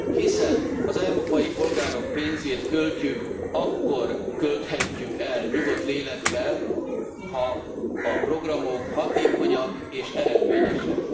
Hiszen az európai polgárok pénzét költjük, akkor költhetjük el nyugodt lélekkel, ha a programok hatékonyak és eredményesek.